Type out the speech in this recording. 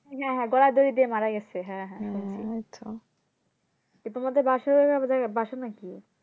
হ্যাঁ হ্যাঁ গলায় দড়ি নিয়ে মারা গেছে এরপর আমাদের বাসার হয়ে বাসার নাকি